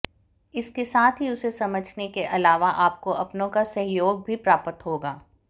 इसके साथ ही उसे समझने के अलावा आपको अपनों का सहयोग भी प्राप्त होगा